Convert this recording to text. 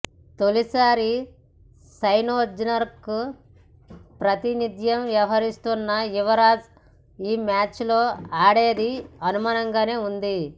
తొలిసారి సన్రైజర్స్కు ప్రాతినిధ్యం వహిస్తున్న యువరాజ్ ఈ మ్యాచ్లో ఆడేది అనుమానంగానే ఉంది